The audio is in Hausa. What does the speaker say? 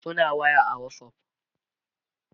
suna waya a Whatsapp